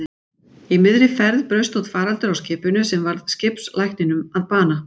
Í miðri ferð braust út faraldur á skipinu sem varð skipslækninum að bana.